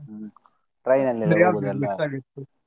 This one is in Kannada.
ಹ್ಮ್ train ಅಲ್ಲಿ .